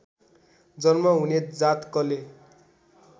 जन्म हुने जातकले